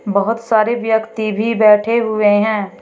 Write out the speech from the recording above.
बहोत सारे व्यक्ति भी बैठे हुए हैं।